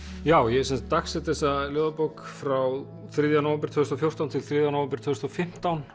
já ég þessa ljóðabók frá þriðja nóvember tvö þúsund og fjórtán til þriðja nóvember tvö þúsund og fimmtán